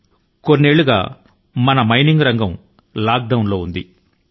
సంవత్సరాల తరబడి మన గనుల త్రవ్వకం రంగం లాక్ డౌన్ దశ లో ఉంటూ వచ్చింది